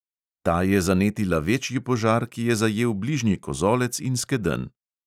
Ta je zanetila večji požar, ki je zajel bližnji kozolec in skedenj.